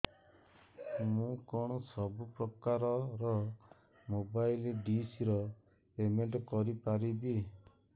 ମୁ କଣ ସବୁ ପ୍ରକାର ର ମୋବାଇଲ୍ ଡିସ୍ ର ପେମେଣ୍ଟ କରି ପାରିବି